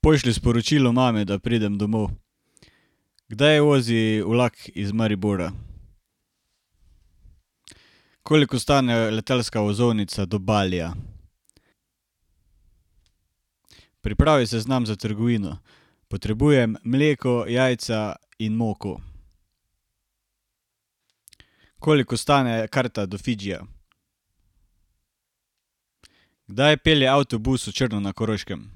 Pošlji sporočilo mami, da pridem domov. Kdaj vozi vlak iz Maribora? Koliko stane letalska vozovnica do Balija? Pripravi seznam za trgovino. Potrebujem: mleko, jajca in moko. Koliko stane karta do Fidžija? Kdaj pelje avtobus v Črno na Koroškem?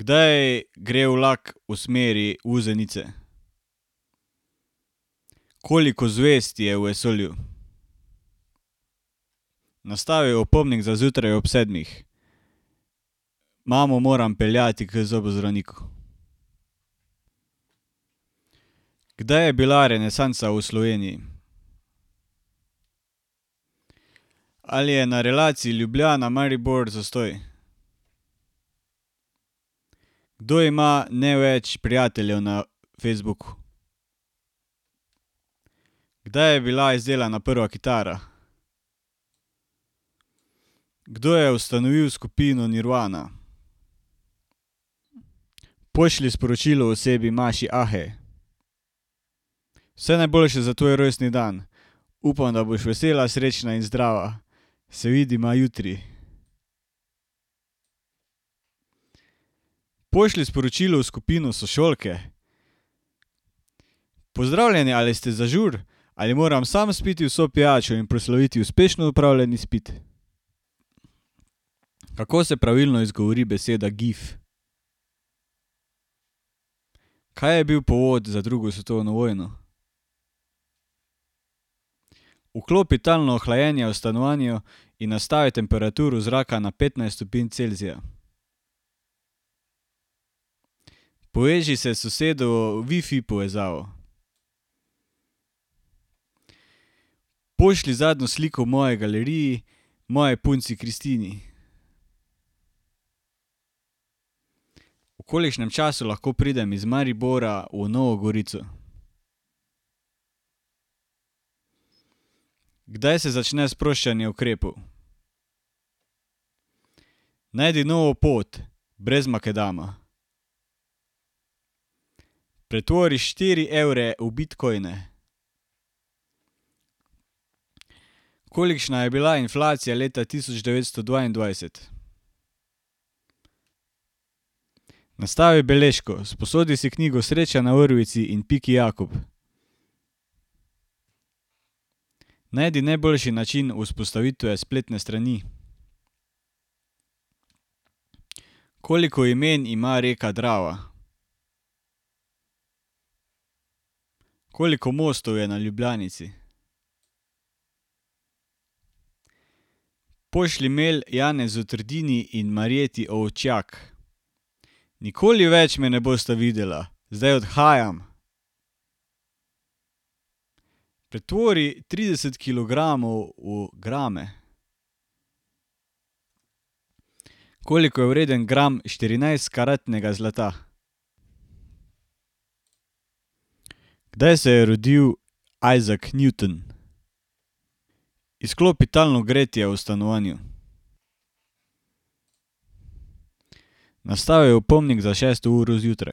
Kdaj gre vlak v smeri Vuzenice? Koliko zvezd je v vesolju? Nastavi opomnik za zjutraj ob sedmih: Mamo moram peljati k zobozdravniku. Kdaj je bila renesansa v Sloveniji? Ali je na relaciji Ljubljana-Maribor zastoj? Kdo ima največ prijateljev na Facebooku? Kdaj je bila izdelana prva kitara? Kdo je ustanovil skupino Nirvana? Pošlji sporočilo osebi [ime in priimek]: Vse najboljše za tvoj rojstni dan! Upam, da boš vesela, srečna in zdrava. Se vidiva jutri. Pošlji sporočilo v skupino Sošolke: Pozdravljene, ali ste za žur? Ali moram sam spiti vso pijačo in proslaviti uspešno opravljen izpit? Kako se pravilno izgovori beseda gif? Kaj je bil povod za drugo svetovno vojno? Vklopi talno hlajenje v stanovanju in nastavi temperaturo zraka na petnajst stopinj Celzija. Poveži se s sosedovo wifi povezavo. Pošlji zadnjo sliko v moji galeriji moji punci Kristini. V kolikšnem času lahko pridem iz Maribora v Novo Gorico? Kdaj se začne sproščanje ukrepov? Najdi novo pot brez makadama. Pretvori štiri evre v bitcoine. Kolikšna je bila inflacija leta tisoč devetsto dvaindvajset? Nastavi beležko: Sposodi si knjigo Sreča na vrvici in Piki Jakob. Najdi najboljši način vzpostavitve spletne strani. Koliko imen ima reka Drava? Koliko mostov je na Ljubljanici? Pošlji mail [ime in priimek] in [ime in priimek]: Nikoli več me ne bosta videla, zdaj odhajam. Pretvori trideset kilogramov v grame. Koliko je vreden gram štirinajstkaratnega zlata? Kdaj se je rodil Isaac Newton? Izklopi talno gretje v stanovanju. Nastavi opomnik za šesto uro zjutraj: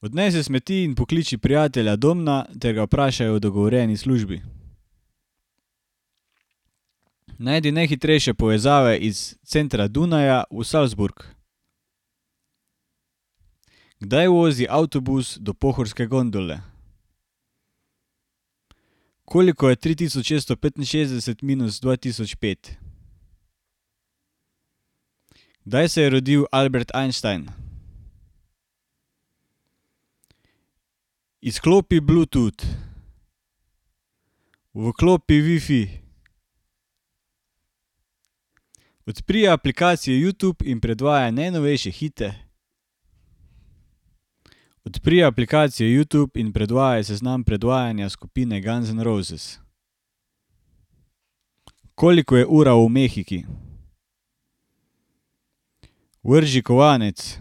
Odnesi smeti in pokliči prijatelja Domna ter ga vprašaj o dogovorjeni službi. Najdi najhitrejše povezave iz centra Dunaja v Salzburg. Kdaj vozi avtobus do pohorske gondole? Koliko je tri tisoč šeststo petinšestdeset minus dva tisoč pet? Kdaj se je rodil Albert Einstein? Izklopi Bluetooth. Vklopi wifi. Odpri aplikacijo Youtube in predvajaj najnovejše hite. Odpri aplikacijo Youtube in predvajaj seznam predvajanja skupine Guns N' Roses. Koliko je ura v Mehiki? Vrzi kovanec.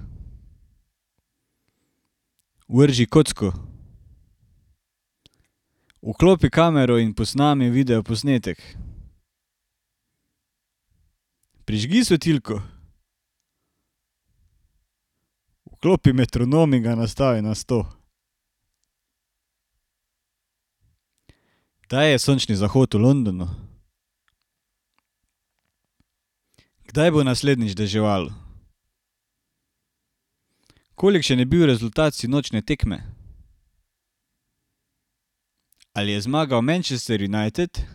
Vrzi kocko. Vklopi kamero in posnemi videoposnetek. Prižgi svetilko. Vklopi metronom in ga nastavi na sto. Kdaj je sončni zahod v Londonu? Kdaj bo naslednjič deževalo? Kolikšen je bil rezultat sinočnje tekme? Ali je zmagal Manchester United?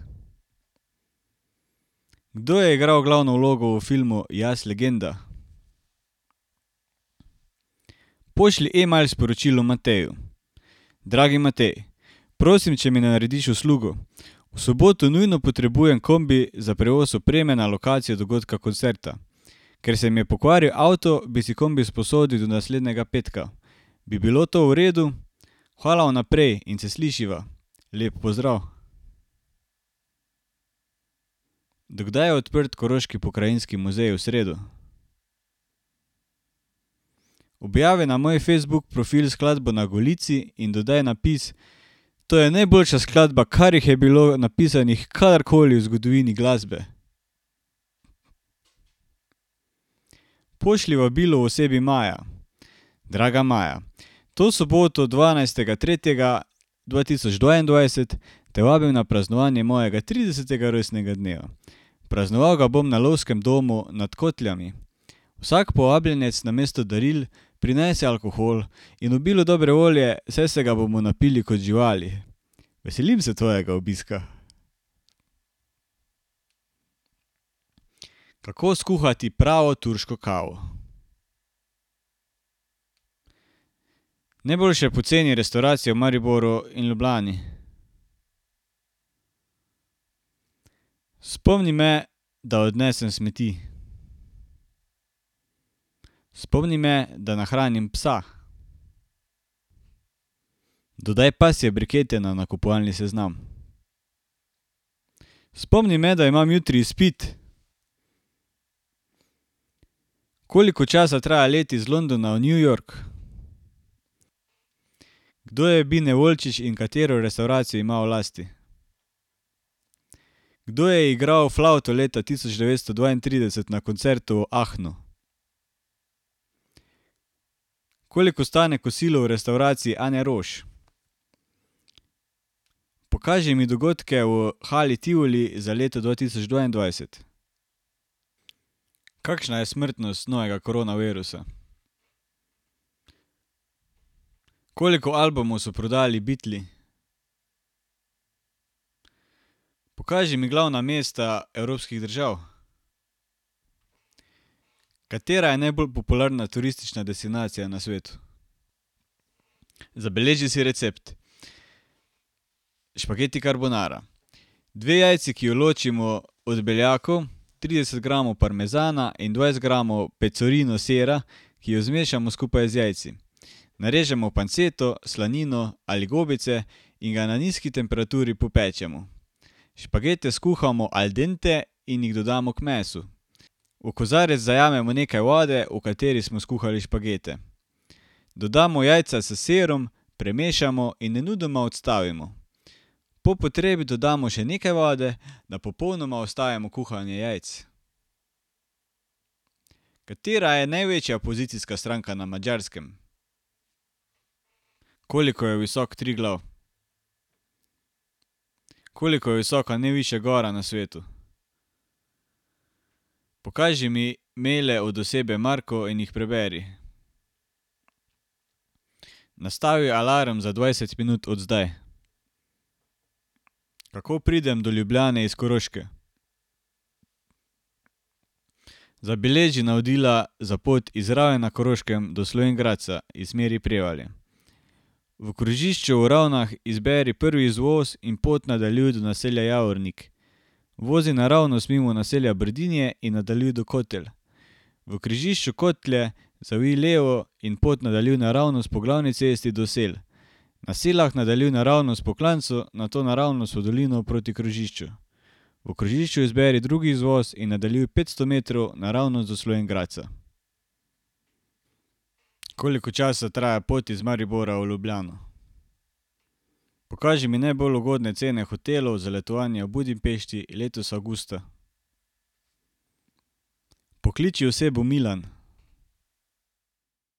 Kdo je igral glavno vlogo v filmu Jaz, legenda? Pošlji email sporočilo Mateju: Dragi Matej! Prosim, če mi narediš uslugo. V soboto nujno potrebujem kombi za prevoz opreme na lokacijo dogodka koncerta. Ker se mi je pokvaril avto, bi si kombi sposodil do naslednjega petka. Bi bilo to v redu? Hvala vnaprej in se slišiva. Lep pozdrav! Do kdaj je odprt Koroški pokrajinski muzej v sredo? Objavi na moj Facebook profil skladbo Na golici in dodaj napis: To je najboljša skladba, kar jih je bilo napisanih karkoli v zgodovini glasbe. Pošlji vabilo osebi Maja: Draga Maja! To soboto, dvanajstega tretjega dva tisoč dvaindvajset, te vabim na praznovanje mojega tridesetega rojstnega dneva. Praznoval ga bom na lovskem domu nad Kotljami. Vsak povabljenec namesto daril prinese alkohol in obilo dobre volje, saj se ga bomo napili kot živali. Veselim se tvojega obiska. Kako skuhati pravo turško kavo? Najboljše poceni restavracije v Mariboru in Ljubljani. Spomni me, da odnesem smeti. Spomni me, da nahranim psa. Dodaj pasje brikete na nakupovalni seznam. Spomni me, da imam jutri izpit. Koliko časa traja let iz Londona v New York? Kdo je Bine Volčič in katero restavracijo ima v lasti? Kdo je igral flavto leta tisoč devetsto dvaintrideset na koncertu v Aachnu? Koliko stane kosilo v restavraciji Ane Roš? Pokaži mi dogodke v Hali Tivoli za leto dva tisoč dvaindvajset. Kakšna je smrtnost novega koronavirusa? Koliko albumov so prodali Beatli? Pokaži mi glavna mesta evropskih držav. Katera je najbolj popularna turistična destinacija na svetu? Zabeleži si recept: Špageti carbonara. Dve jajci, ki ju ločimo od beljakov, trideset gramov parmezana in dvajset gramov pecorina sira, ki ju zmešamo skupaj z jajci. Narežemo panceto, slanino ali gobice in ga na nizki temperaturi popečemo. Špagete skuhamo al dente in jih dodamo k mesu. V kozarec zajamemo nekaj vode, v kateri smo skuhali špagete. Dodamo jajca s sirom, premešamo in nemudoma odstavimo. Po potrebi dodamo še nekaj vode, da popolnoma ustavimo kuhanje jajc. Katera je največja pozicijska stranka na Madžarskem? Koliko je visok Triglav? Koliko je visoka najvišja gora na svetu? Pokaži mi maile od osebe Marko in jih preberi. Nastavi alarm za dvajset minut od zdaj. Kako pridem do Ljubljane iz Koroške? Zabeleži navodila za pot iz Raven na Koroškem do Slovenj Gradca iz smeri Prevalje: V krožišču v Ravnah izberi prvi izvoz in pot nadaljuj do naselja Javornik. Vozi naravnost mimo naselja Brdinje in nadaljuj do Kotelj. V križišču Kotlje zavij levo in pot nadaljuj naravnost po glavni cesti do Sel. Na Selah nadaljuj naravnost po klancu, nato naravnost v dolino proti krožišču. V križišču izberi drugi izvoz in nadaljuj petsto metrov naravnost do Slovenj Gradca. Koliko časa traja pot iz Maribora v Ljubljano? Pokaži mi najbolj ugodne cene hotelov za letovanje v Budimpešti letos avgusta. Pokliči osebo Milan.